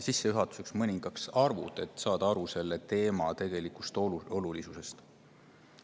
Sissejuhatuseks mõningad arvud, et saada selle teema olulisusest.